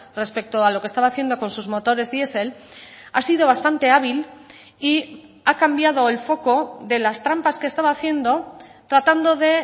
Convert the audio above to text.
respecto a lo que estaba haciendo con sus motores diesel ha sido bastante hábil y ha cambiado el foco de las trampas que estaba haciendo tratando de